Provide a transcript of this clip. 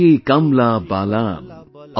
Koshi, Kamla Balan,